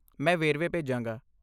ਮੈਂ ਵੇਰਵੇ ਭੇਜਾਂਗਾ।